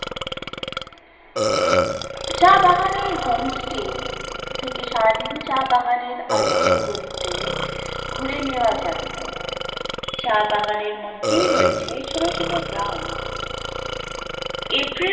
এই homestay থেকে সারাদিন চা বাগানের অলিতে গলিতে ঘুরে নেওয়া যায়, চা বাগানের মধ্যেই রয়েছে ছোট ছোট গ্রাম এপ্রিল